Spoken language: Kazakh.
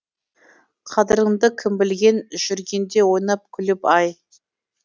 қадіріңді кім білген жүргенде ойнап күліп ай